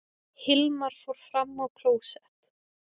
Hilmar fór fram á klósett.